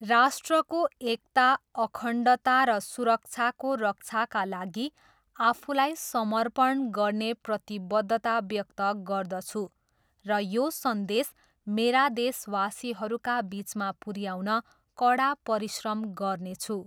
राष्ट्रको एकता, अखण्डता र सुरक्षाको रक्षाका लागि आफूलाई समर्पण गर्ने प्रतिबद्धता व्यक्त गर्दछु र यो सन्देश मेरा देशवासीहरूका बिचमा पुऱ्याउन कडा परिश्रम गर्नेछु।